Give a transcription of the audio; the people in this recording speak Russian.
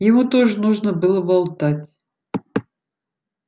ему тоже нужно было болтать